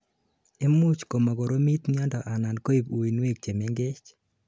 imuch komakoromit miando anan koib uinwek chemengech